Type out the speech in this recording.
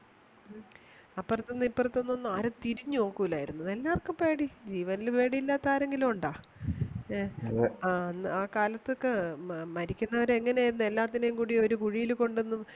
അപ്പുറത്തെന്നും ഇപ്പുറത്തെന്നും ആരും തിരിഞ്ഞു നോക്കില്ലായിരുന്നു എല്ലാർക്കും പേടി ജീവനിൽ പേടിയില്ലാത ആരെങ്കിലും ഉണ്ട എ അതെ ആ കാലത്തൊക്കെ മരിക്കുന്നവരെ എങ്ങനെ ആയിരുന്നു എല്ലാത്തിനെയും കുടി ഒരു കുഴിയിൽ കൊണ്ടെന്നു